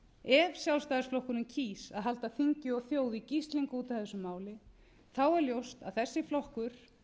ef sjálfstæðisflokkurinn kýs að halda þingi og þjóð í gíslingu út af þessu máli er ljóst að þessi flokkur